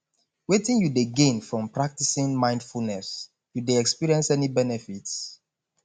wetin you dey gain from practicing mindfulness you dey experience any benefits